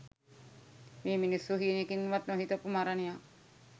මේ මිනිස්සු හීනෙකින්වත් නොහිතපු මරණයක්